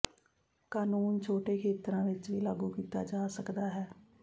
ਕਾਨੂੰਨ ਛੋਟੇ ਖੇਤਰਾਂ ਵਿੱਚ ਵੀ ਲਾਗੂ ਕੀਤਾ ਜਾ ਸਕਦਾ ਹੈ